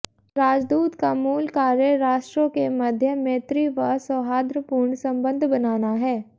राजदूत का मूल कार्य राष्ट्रों के मध्य मैत्री व सौहार्द्रपूर्ण सम्बन्ध बनाना है